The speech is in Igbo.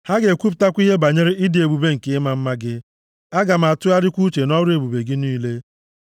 Ha ga-ekwupụta ihe banyere ịdị ebube nke ịma mma gị, aga m atụgharịkwa uche nʼọrụ ebube gị niile.